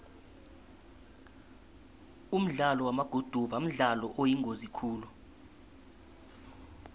umdlalo wamaguduva mdlalo oyingozi khulu